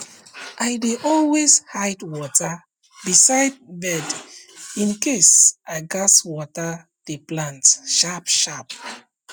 i dey always hide water beside bedin case i gats water the plant sharp sharp